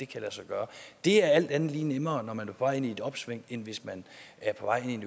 kan lade sig gøre det er alt andet lige nemmere når man er vej ind i et opsving end hvis man er på vej ind